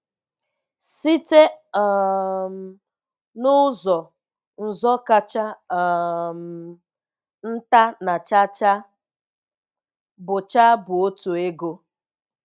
Site um n'ụzọ, nzọ kacha um nta na cha cha bụ cha bụ otu ego.